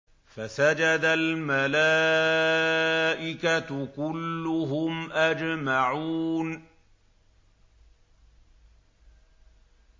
فَسَجَدَ الْمَلَائِكَةُ كُلُّهُمْ أَجْمَعُونَ